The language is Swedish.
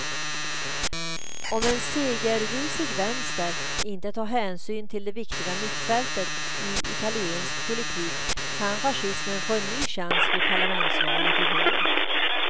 Om en segerrusig vänster inte tar hänsyn till det viktiga mittfältet i italiensk politik kan fascismen få en ny chans vid parlamentsvalet i vår.